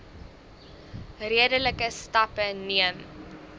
redelike stappe neem